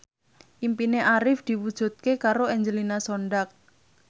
impine Arif diwujudke karo Angelina Sondakh